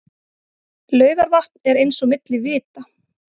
Laugarvatn eins og milli vita.